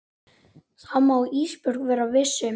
Það má Ísbjörg vera viss um.